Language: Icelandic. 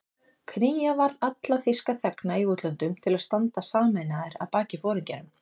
Knýja varð alla þýska þegna í útlöndum til að standa sameinaðir að baki foringjanum